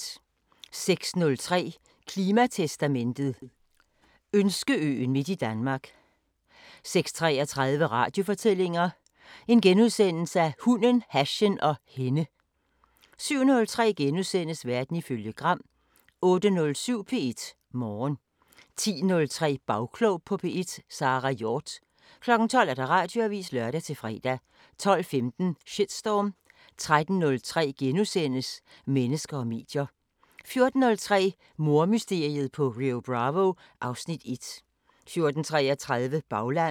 06:03: Klimatestamentet: Ønskeøen midt i Danmark 06:33: Radiofortællinger: Hunden, hashen og hende * 07:03: Verden ifølge Gram * 08:07: P1 Morgen 10:03: Bagklog på P1: Sara Hjort 12:00: Radioavisen (lør-fre) 12:15: Shitstorm 13:03: Mennesker og medier * 14:03: Mordmysteriet på Rio Bravo (Afs. 1) 14:33: Baglandet